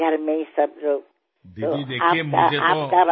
দিদি চাওক মোক তো